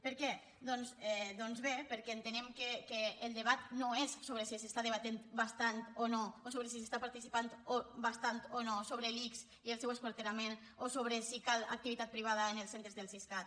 per què doncs bé perquè entenem que el debat no és sobre si s’està debatent bastant o no o sobre si s’està participant bastant o no sobre l’ics i el seu esquarterament o sobre si cal activitat privada en els centres del siscat